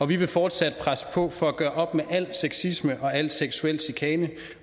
vi vil fortsat presse på for at gøre op med al sexisme og al seksuel chikane